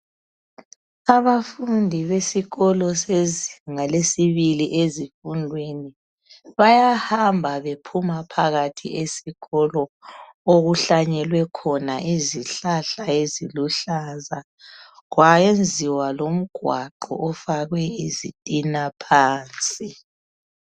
Abafundi besikolo sezingalesibili ezifundweni, bayahamba bephuma phakathi esikolo, okuhlanyelwe khona izihlahla eziluhlaza, kwayenziwa lomgwaqo ofakwe izitina phansi.